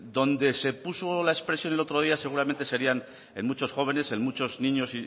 donde se puso la expresión el otro día seguramente serían en muchos jóvenes en muchos niños